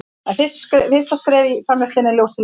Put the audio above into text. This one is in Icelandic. en fyrsta skref í framleiðslunni er ljóstillífun